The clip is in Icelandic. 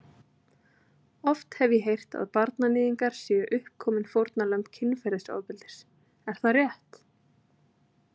Oft hef ég heyrt að barnaníðingar séu uppkomin fórnarlömb kynferðisofbeldis, er það rétt?